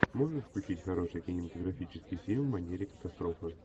можешь включить хороший кинематографический фильм в манере катастрофы